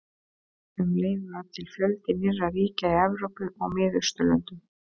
Um leið varð til fjöldi nýrra ríkja í Evrópu og Miðausturlöndum.